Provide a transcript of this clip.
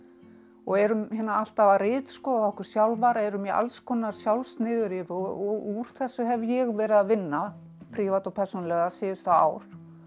og erum alltaf að ritskoða okkur sjálfar erum í alls konar sjálfsniðurrifi og úr þessu hef ég verið að vinna prívat og persónulega síðustu ár